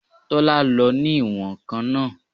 Tọ́lá lo ní ìwọ̀n-ǹkan náà